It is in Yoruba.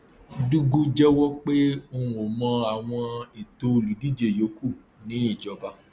dugu jẹwọ pé òun ò mọ àwọn ètò olùdíje yòókù ní ìjọba